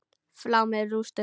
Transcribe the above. Flá með rústum.